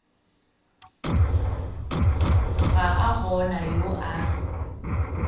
ga a gona yo a